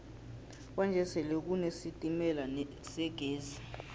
kwanje sele kune sitemala segezi